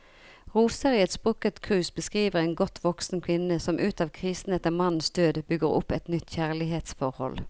Roser i et sprukket krus beskriver en godt voksen kvinne som ut av krisen etter mannens død, bygger opp et nytt kjærlighetsforhold.